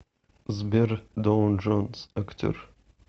сбер доун джонс актер